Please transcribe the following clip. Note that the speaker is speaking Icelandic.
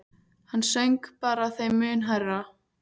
Hann söng bara þeim mun hærra.